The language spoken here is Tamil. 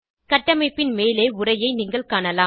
கட்டமைப்பின் மேலே உரையை நீங்கள் காணலாம்